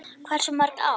Hversu mörg ár?